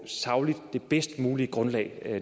sagligt bedst mulige grundlag